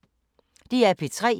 DR P3